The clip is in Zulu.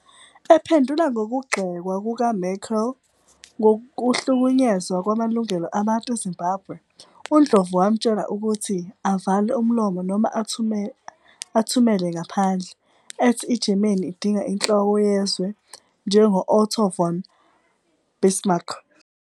Ephendula ngokugxekwa kukaMerkel ngokuhlukunyezwa kwamalungelo abantu eZimbabwe, uNdlovu wamtshela ukuthi "avale umlomo noma athumele ngaphandle," ethi iGermany idinga inhloko yezwe njengo-Otto von Bismarck.